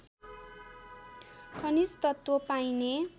खनिज तत्त्व पाइने